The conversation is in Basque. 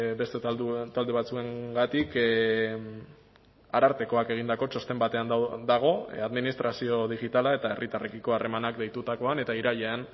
beste talde batzuengatik arartekoak egindako txosten batean dago administrazio digitala eta herritarrekiko harremanak deitutakoan eta irailean